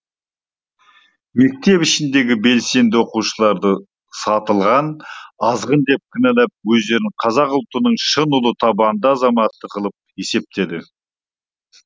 мектеп ішіндегі белсенді оқушыларды сатылған азғын деп кінәлап өздерін қазақ ұлтының шын ұлы табанды азаматы қылып есептеді